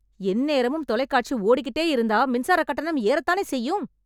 எந்நேரமும் தொலைகாட்சி ஓடிக்கிட்டே இருந்தா மின்சாரக் கட்டணம் ஏறத்தானே செய்யும்...